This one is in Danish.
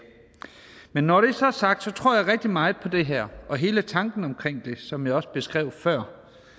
men når det så er sagt tror jeg rigtig meget på det her og hele tanken omkring det sådan som jeg også beskrev det før